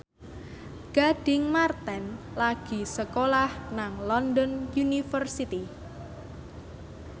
Gading Marten lagi sekolah nang London University